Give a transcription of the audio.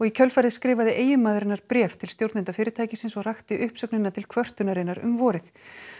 í kjölfarið skrifaði eiginmaður hennar bréf til stjórnenda fyrirtækisins og rakti uppsögnina til kvörtunarinnar um vorið